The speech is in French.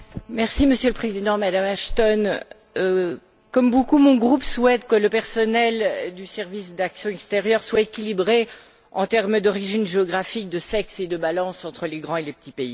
Monsieur le Président, Madame Ashton, comme beaucoup, mon groupe souhaite que le personnel du service d'action extérieure soit équilibré en termes d'origine géographique, de sexe et de balance entre les grands et les petits pays.